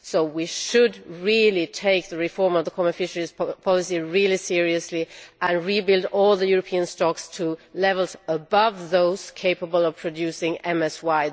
We should therefore take the reform of the CFP really seriously and rebuild all the European stocks to levels above those capable of producing MSY.